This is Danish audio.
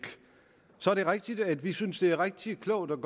så er det rigtigt at vi synes at det er rigtig klogt at